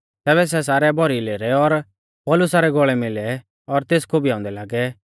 तैबै सै सारै भौरी लेरै और पौलुसा रै गौल़ै मिलै और तेस खोबीयाऊंदै लागै